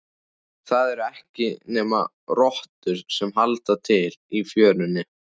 Það eru ekki nema rottur sem halda til í fjörunni.